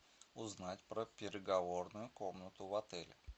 узнать про переговорную комнату в отеле